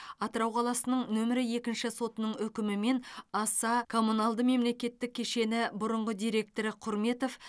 атырау қаласының нөмірі екінші сотының үкімімен аса коммуналды мемлекеттік кешені бұрынғы директоры құрметов